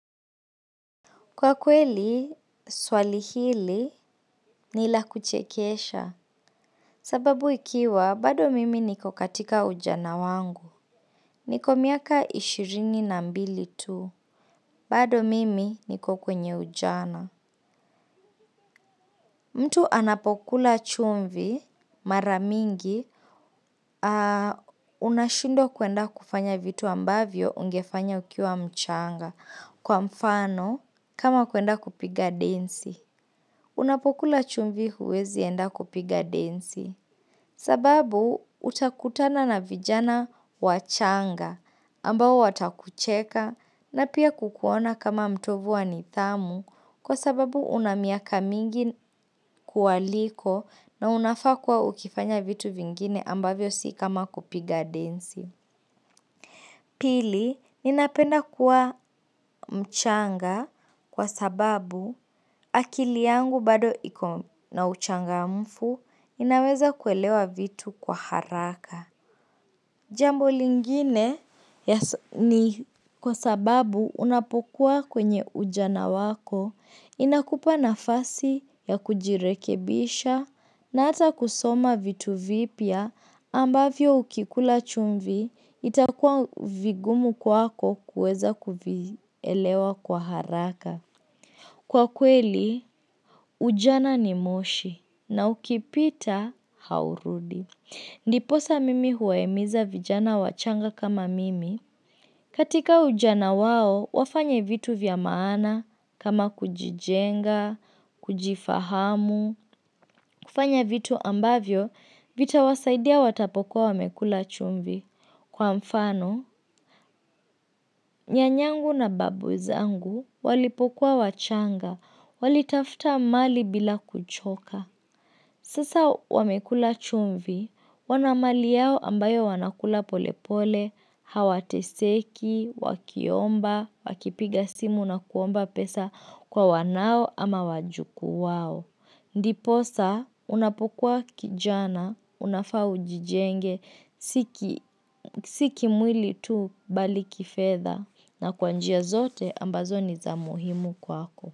Kwa kweli, swali hili ni la kuchekesha. Sababu ikiwa, bado mimi niko katika ujana wangu. Niko miaka ishirini na mbili tu. Bado mimi niko kwenye ujana. Mtu anapokula chumvi mara mingi, unashindwa kwenda kufanya vitu ambavyo ungefanya ukiwa mchanga. Kwa mfano, kama kuenda kupiga densi. Unapokula chumvi huwezi enda kupiga densi sababu utakutana na vijana wachanga ambao watakucheka na pia kukuona kama mtovu wa nidhamu kwa sababu una miaka mingi kuwaliko na unafaa kuwa ukifanya vitu vingine ambavyo si kama kupiga densi. Pili, ninapenda kuwa mchanga kwa sababu akili yangu bado iko na uchangamfu inaweza kuelewa vitu kwa haraka. Jambo lingine ni kwa sababu unapokuwa kwenye ujana wako inakupa nafasi ya kujirekebisha na hata kusoma vitu vipya, ambavyo ukikula chumvi itakuwa vigumu kwako kuweza kuvielewa kwa haraka. Kwa kweli, ujana ni moshi na ukipita haurudi. Ndiposa mimi huwahimiza vijana wachanga kama mimi. Katika ujana wao, wafanye vitu vya maana kama kujijenga, kujifahamu. Kufanya vitu ambavyo, vitawasaidia watapokuwa wamekula chumvi. Kwa mfano, nyanyangu na babu zangu walipukua wachanga, walitafta mali bila kuchoka. Sasa wamekula chumvi, wana mali yao ambayo wanakula polepole, hawateseki, wakiomba, wakipiga simu na kuomba pesa kwa wanao ama wajuku wao. Ndiposa unapokuwa kijana, unafaa ujijenge, si kimwili tu, bali kifedha na kwa njia zote ambazo ni za muhimu kwako.